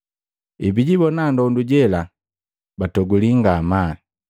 Ebijibona ndondu jela, batoguli ngamaa.